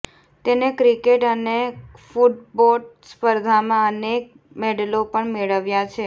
તેણે ક્રિકેટ અને ફૂટબોટ સ્પર્ધામાં અનેક મેડલો પણ મેળવ્યા છે